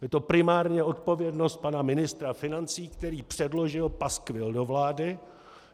Je to primárně odpovědnost pana ministra financí, který předložil paskvil do vlády.